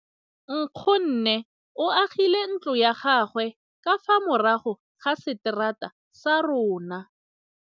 Nkgonne o agile ntlo ya gagwe ka fa morago ga seterata sa rona.